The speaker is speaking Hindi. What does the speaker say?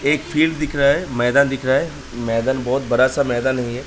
एक फील्ड दिख रहा है। मैदान दिख रहा है। मैदान बहोत बड़ा सा मैदान है ये।